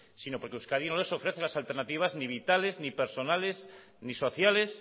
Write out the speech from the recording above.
sino porque euskadi no les ofrece las alternativas ni vitales ni personales ni sociales